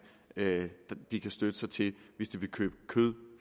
de kan støtte sig til hvis de vil købe kød